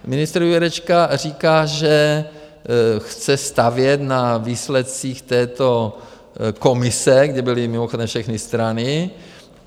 Ministr Jurečka říká, že chce stavět na výsledcích této komise, kde byly mimochodem všechny strany.